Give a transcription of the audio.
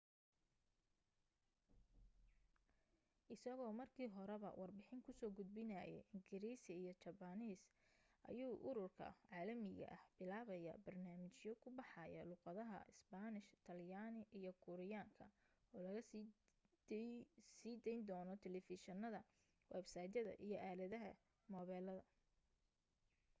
isagoo markii horeba warbixin ku soo gudbinayay ingiriisi iyo jabbaaniis ayuu ururka caalamiga ah bilaabaya barnaamijyo ku baxaya luuqadaha isbaanish talyaani iyo kuuriyaanka oo laga siin dayno taleefishinada websaytyada iyo aalada moobilada